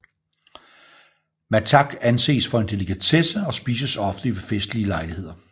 Mattak anses for en delikatesse og spises ofte ved festlige lejligheder